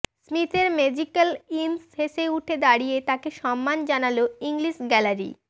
স্মিথের magical innings শেষে উঠে দাঁড়িয়ে তাঁকে সম্মান জানাল ইংলিশ গ্যালারি